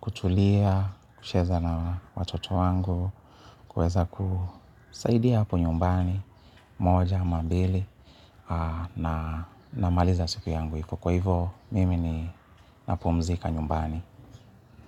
kutulia, kucheza na watoto wangu. Kuweza kusaidia hapo nyumbani, moja, ama mbili namaliza siku yangu hivo. Kwa hivo mimi ninapumzika nyumbani.